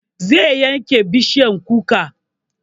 Zai yanke bishiyar kuka